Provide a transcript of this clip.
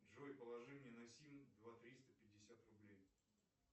джой положи мне на сим два триста пятьдесят рублей